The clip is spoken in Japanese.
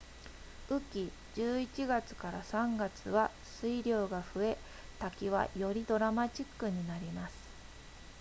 雨季11月 ～3 月は水量が増え滝はよりドラマチックになります